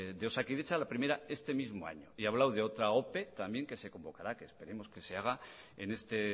de osakidetza la primera este mismo año y ha hablado de otra ope también que se convocará que esperamos que se haga en este